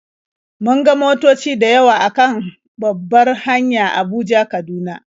Mun ga motoci da yawa a kan babbar hanya Abuja-Kaduna.